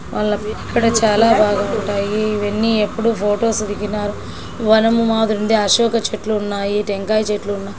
ఇక్కడ చాలా బాగా ఉంటాయి. ఇవన్నీ ఎప్పుడూ ఫోటోస్ దిగినారు. వనము మాదిరి ఉంది. అశోక చెట్లు ఉన్నాయి.టెంకాయ చెట్లున్నాయ్.